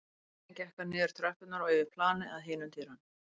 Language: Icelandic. Síðan gekk hann niður tröppurnar og yfir planið að hinum dyrunum.